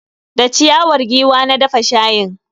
Da ciyawar giwa na dafa shayin.